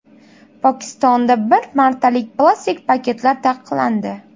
Pokistonda bir martalik plastik paketlar taqiqlandi.